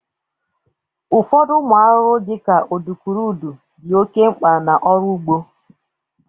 Ụfọdụ ụmụ arụrụ dị ka udukurudu dị oke mgba n'ọrụ ụgbọ